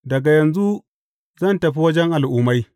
Daga yanzu zan tafi wajen Al’ummai.